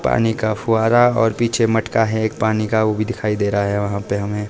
पानी का फुहारा ओर पीछे मटका है एक पानी का वो भी दिखाई दे रहा है वहां पे हमें।